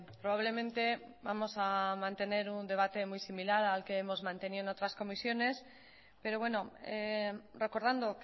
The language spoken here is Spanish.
probablemente vamos a mantener un debate muy similar al que hemos mantenido en otras comisiones pero bueno recordando